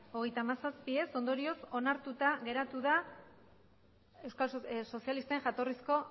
hogeita hamazazpi ondorioz onartuta geratu da euskal sozialisten jatorrizko